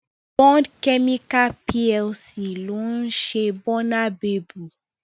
Bond Chemical PLC ló ń ṣe Bónabebu